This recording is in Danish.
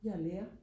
jeg er lærer